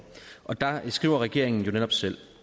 der skriver regeringen jo netop selv